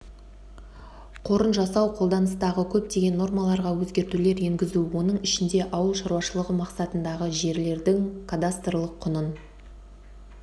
қорын жасау қолданыстағы көптеген нормаларға өзгертулер енгізу оның ішінде ауыл шаруашылығы мақсатындағы жерлердің кадастрлық құнын